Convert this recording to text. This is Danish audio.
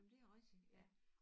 Men det jo rigtig ja